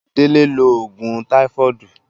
Dele lo oògùn táífọ́ọ̀dù